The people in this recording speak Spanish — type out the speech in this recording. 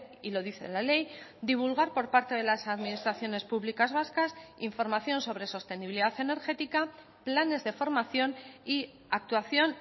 y lo dice la ley divulgar por parte de las administraciones públicas vascas información sobre sostenibilidad energética planes de formación y actuación